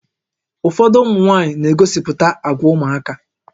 Ụfọdụ ụmụ nwaanyị na-egosipụta àgwà ụmụaka